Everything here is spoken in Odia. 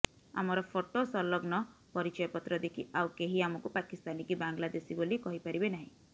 ଆମର ଫୋଟୋ ସଂଲଗ୍ନ ପରିଚୟପତ୍ର ଦେଖି ଆଉ କେହି ଆମକୁ ପାକିସ୍ତାନୀ କି ବାଂଲାଦେଶୀ ବୋଲି କହିପାରିବେ ନାହିଁ